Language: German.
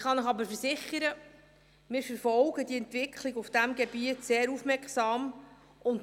Ich kann Ihnen aber versichern, dass wir die Entwicklung auf diesem Gebiet sehr aufmerksam verfolgen.